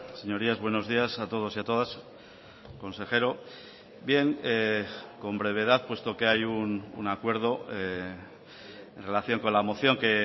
señorías buenos días a todos y a todas consejero bien con brevedad puesto que hay un acuerdo en relación con la moción que